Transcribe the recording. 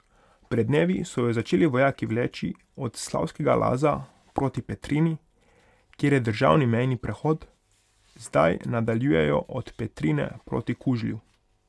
Pred dnevi so jo začeli vojaki vleči od Slavskega Laza proti Petrini, kjer je državni mejni prehod, zdaj nadaljujejo od Petrine proti Kužlju.